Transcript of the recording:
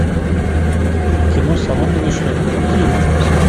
кино соломенная шляпка какие можно посмотреть